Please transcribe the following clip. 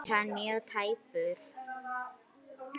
Er hann mjög tæpur?